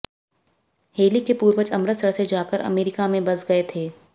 heli के पूर्वज अमृतसर से जाकर अमरीका में बस गए थे